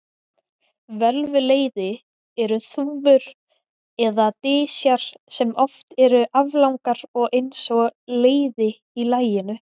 Völvuleiði eru þúfur eða dysjar sem oft eru aflangar og eins og leiði í laginu.